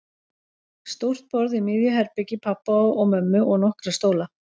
Stórt borð í miðju herbergi pabba og mömmu og nokkra stóla.